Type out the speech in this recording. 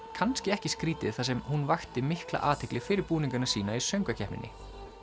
kannski ekki skrítið þar sem hún vakti mikla athygli fyrir búningana sína í söngvakeppninni